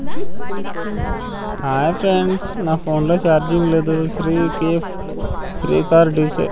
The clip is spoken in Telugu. హాయ్ ఫ్రెండ్స్ నా ఫోన్లో చార్జింగ్ లేదు శ్రీ కేఫ్ శ్రీ కార్ డి సే --